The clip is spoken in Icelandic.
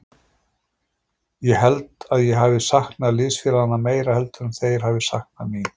Ég held að ég hafi saknað liðsfélaganna meira heldur en þeir hafi saknað mín.